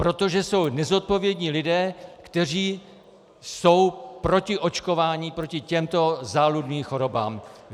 Protože jsou nezodpovědní lidé, kteří jsou proti očkování proti těmto záludným chorobám.